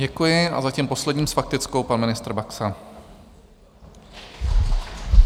Děkuji a zatím poslední s faktickou pan ministr Baxa.